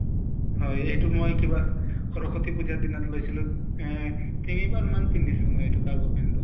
হয় । এইটো মই কিবা সৰস্ব্তি পুজাৰ দ্নাত লৈছলো। এহ তিনিবাৰ মান পিন্ধিছো এইটো cargo pant টো